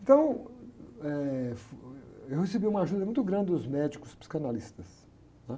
Então, eh, fu, eu recebi uma ajuda muito grande dos médicos psicanalistas.